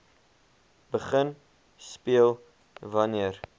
begin speel wanneer